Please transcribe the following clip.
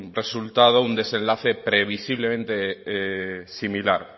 resultado un desenlace previsiblemente similar